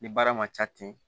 Ni baara man ca ten